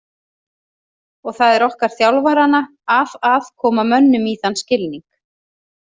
Og það er okkar þjálfaranna að að koma mönnum í þann skilning.